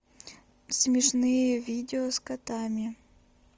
смешные видео с котами